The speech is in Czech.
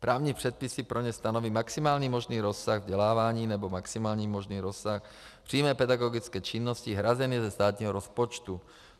Právní předpisy pro ně stanoví maximální možný rozsah vzdělávání nebo maximální možný rozsah přímé pedagogické činnosti hrazené ze státního rozpočtu.